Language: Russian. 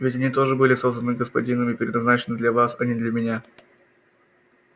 ведь они тоже были созданы господином и предназначены для вас а не для меня